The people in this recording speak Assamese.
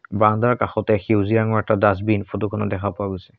বাৰাণ্ডাৰ কাষতে সেউজীয়া ৰঙৰ এটা ডাছবিন ফটোখনত দেখা পোৱা গৈছে।